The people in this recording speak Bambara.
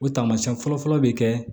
O taamasiyɛn fɔlɔfɔlɔ bɛ kɛ